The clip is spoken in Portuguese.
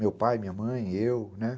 Meu pai, minha mãe, eu, né?